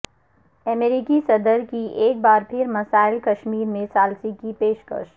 امریکی صدر کی ایک بار پھر مسئلہ کشمیر میں ثالثی کی پیش کش